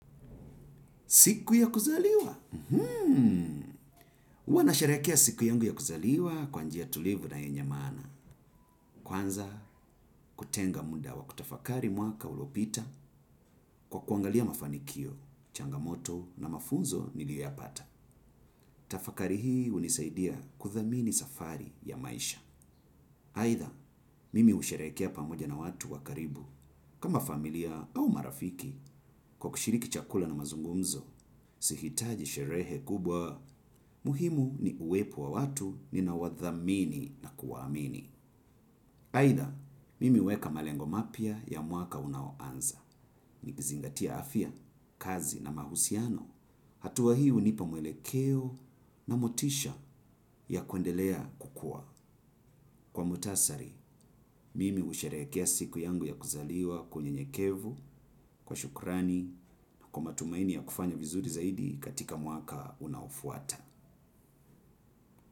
Siku ya kuzaliwa? Hmm. Uwa na sherekea siku yangu ya kuzaliwa kwanjia tulivu na yenye maana. Kwanza kutenga muda wa kutafakari mwaka uliopita kwa kuangalia mafanikio, changamoto na mafunzo ni liyoyapata. Tafakari hii unisaidia kuthamini safari ya maisha. Haitha, mimi usherekea pamoja na watu wakaribu. Kama familia au marafiki kwa kushiriki chakula na mazungumzo. Sihitaji sherehe kubwa, muhimu ni uwepo wa watu ni naowadhamini na kuwaamini. Haitha, mimi huweka malengo mapia ya mwaka unaoanza. Nikizingatia afia, kazi na mahusiano. Hatua hii u nipa mwele keo na motisha ya kwendelea kukua. Kwa mutasari, mimi usherekea siku yangu ya kuzaliwa kwa unye nyekevu, kwa shukrani, kwa matumaini ya kufanya vizuri zaidi katika mwaka unaofuata.